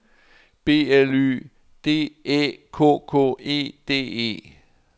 B L Y D Æ K K E D E